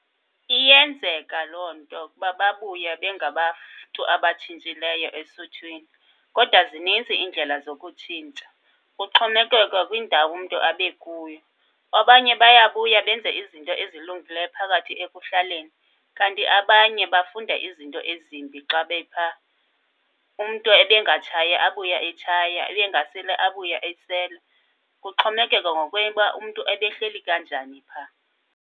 Iyenzeka loo nto kuba babuye bengabantu abatshintshileyo esuthwini. Kodwa zinintsi iindlela zokutshintsha, kuxhomekeka kwindawo umntu abekuyo. Abanye baya kuya benze izinto ezilungileyo phakathi ekuhlaleni, kanti abanye bafunda izinto ezimbi xa bephaa. Umntu ebengatshayi abuye etshaya, ebengaseli abuye esela. Kuxhomekeka uba umntu ebehleli kanjani phaa.